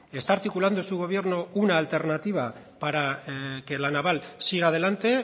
que está articulando su gobierno una alternativa para que la naval siga adelante